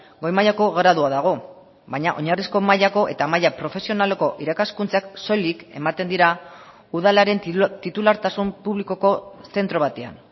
goi mailako gradua dago baina oinarrizko mailako eta maila profesionaleko irakaskuntzak soilik ematen dira udalaren titulartasun publikoko zentro batean